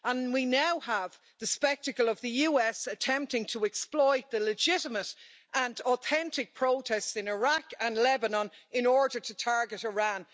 We now have the spectacle of the US attempting to exploit the legitimate and authentic protests in Iraq and Lebanon in order to target Iran.